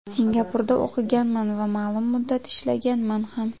Singapurda o‘qiganman va ma’lum muddat ishlaganman ham.